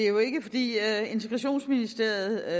integrationsministeren